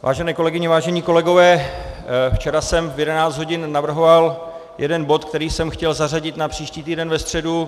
Vážené kolegyně, vážení kolegové, včera jsem v 11 hodin navrhoval jeden bod, který jsem chtěl zařadit na příští týden ve středu.